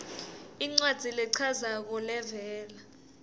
incwadzi lechazako levela